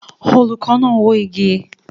Olùkọ́ náà ń wó igi